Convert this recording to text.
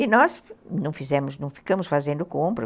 E nós não fizemos, não ficamos fazendo compras.